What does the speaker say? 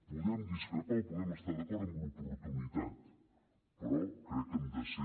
podem discrepar o podem estar d’acord amb l’oportunitat però crec que hem de ser